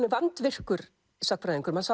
er vandvirkur sagnfræðingur maður